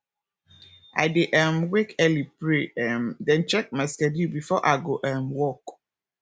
i dey um wake early pray um then check my schedule before i go um work